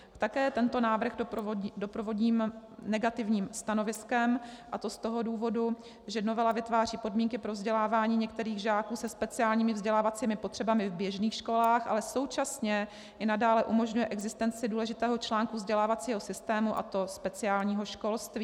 Také tento návrh doprovodím negativním stanoviskem, a to z toho důvodu, že novela vytváří podmínky pro vzdělávání některých žáků se speciálními vzdělávacími potřebami v běžných školách, ale současně i nadále umožňuje existenci důležitého článku vzdělávacího systému, a to speciálního školství.